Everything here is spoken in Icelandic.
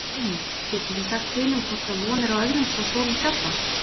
Brynja: Getið þið sagt til um hvort að von er á öðrum svo stórum skjálfta?